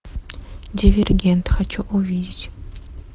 дивергент хочу увидеть